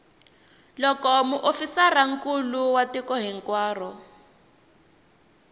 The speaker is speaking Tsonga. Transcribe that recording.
loko muofisirinkulu wa tiko hinkwaro